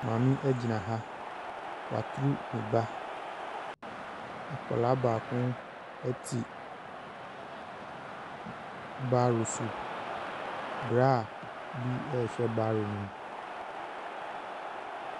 Maame gyina ha, waturu ne ba. Akwadaa baako te barrow so. Braa bi ɛrehwɛ barrow ne mu.